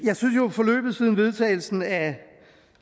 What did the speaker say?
forløbet siden vedtagelsen af